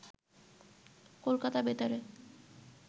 কলকাতা বেতারে